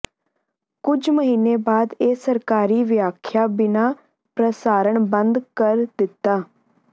ਕੁਝ ਮਹੀਨੇ ਬਾਅਦ ਇਹ ਸਰਕਾਰੀ ਵਿਆਖਿਆ ਬਿਨਾ ਪ੍ਰਸਾਰਣ ਬੰਦ ਕਰ ਦਿੱਤਾ